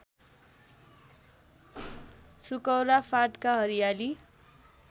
सुकौरा फाँटका हरियाली